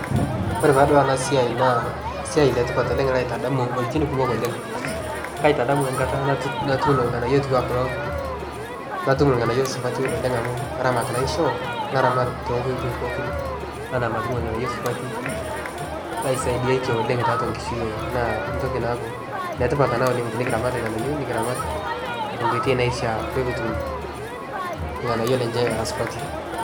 Ore tadua enasiai naa siai letipat oleng' laitadamu wueitin kumok oleng'. Kaitadamu enkata natuuno ilng'anayio otiu anaa kulo natum ilng'anayio supati oleng' amu aramat naishoo naramat tonkoitoi pookin anaa matum ilng'anayio supati laisaidiatie oleng' tiatua nkishui ai naa ntoki naaku netipat ena oleng' tinikiramat ilng'anayio nikiramat tenkoitoi naishaa pekutum ilng'anayio lenche era supati.